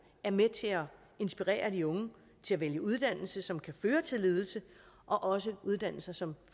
er med til at inspirere de unge til at vælge uddannelse som kan føre til ledelse og også uddannelser som